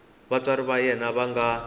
vatswari va yena va nga